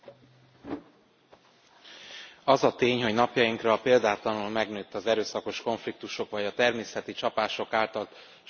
Az a tény, hogy napjainkra példátlanul megnőtt az erőszakos konfliktusok vagy a természeti csapások által sújtott személyek száma, hogy a II.